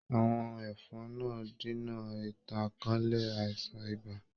Àwọ̀n ẹ̀fọn náà dínà ìtànkálẹ̀ àìsàn ibà.